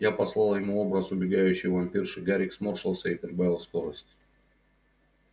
я послал ему образ убегающей вампирши гарик сморщился и прибавил скорость